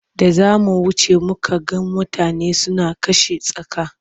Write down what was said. Da za mu wuce muka ga mutane suna kashe tsaka.